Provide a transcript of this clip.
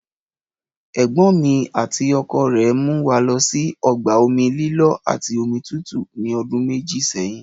Ẹ̀gbọ́n mi àti ọkọ rẹ̀ mú wa lọ sí ọgbà omi lílọ́ àti omi tútù ní ọdún méjì sẹ́yìn